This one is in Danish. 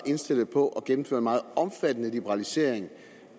indstillet på at gennemføre en meget omfattende liberalisering